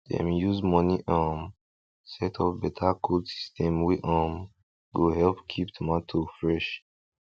dem use money um set up beta cold system wey um go help keep tomato fresh